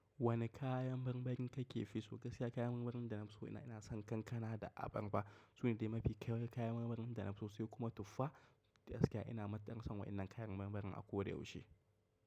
Wane kayan marmarin kake fi so? Gaskiya kayan marmarin da na fi so ina son kankana da abarba. Su ne dai mafi kyawun kayan marmarin da na fi so, su kuma tufa. Gaskiya ina matuƙar son waɗannan kayan marmarin a koda yaushe.